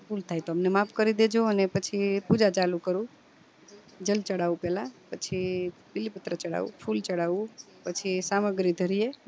ભૂલ થાય તો અમને માફ કરી દેજો અને પછી પૂજા ચાલુ કરું જલ ચડવું પેલા પછી બીલી પત્ર ચડવું ફૂલ ચડવું પછી પછી સામગ્રી ધરીએ